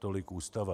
Tolik Ústava.